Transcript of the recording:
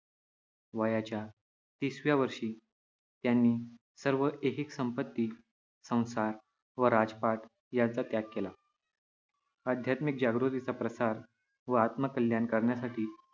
वयाच्या तिस व्या वर्षी त्यांनी सर्व ऐहिक संपत्ती, संसार व राजपाट याचा त्याग केला. आध्यात्मिक जागृतीचा प्रसार व आत्मकल्याण करण्यासाठी